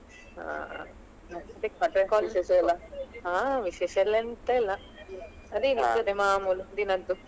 ಹ. ಹ ವಿಶೇಷ ಎಲ್ಲ ಎಂತ ಇಲ್ಲ ಅದೆ ಇದ್ದದ್ದೇ ಮಾಮೂಲು ದಿನದ್ದು .